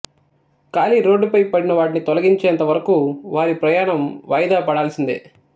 ఖాళీ రోడ్డుపై పడినా వాటిని తొలిగించేంత వరకు వారి ప్రయాణం వాయిదా పడాల్సిందే